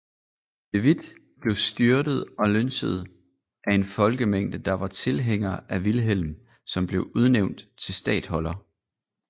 De Witt blev styrtet og lynchet af en folkemængde der var tilhængere af Vilhelm som blev udnævnt til statholder